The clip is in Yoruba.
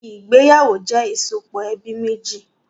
Ìgbéyàwó jẹ ìsopọ̀ ẹbí méjì